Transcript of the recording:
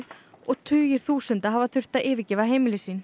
og tugir þúsunda hafa þurft að yfirgefa heimili sín